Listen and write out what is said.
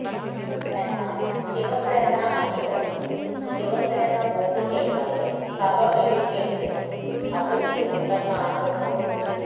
എന്നാൽ ശിവസേന അണികളിൽ ശിവസേന വോട്ടു ചെയ്യാതെ സഭ ബഹിഷ്കരിച്ചതിൽ അതൃപ്തി ഉണ്ടെന്നാണ് റിപ്പോർട്ട്